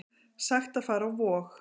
Sagt að fara á Vog